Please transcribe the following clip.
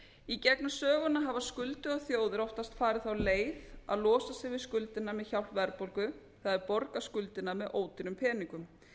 í gegnum söguna hafa skuldugar þjóðir oftast farið þá leið að losa sig við skuldirnar með hjálp verðbólgu það er borgað skuldirnar með ódýrum peningum